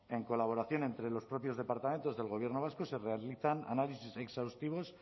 en colaboración entre los propios departamentos del gobierno vasco se realizan análisis exhaustivos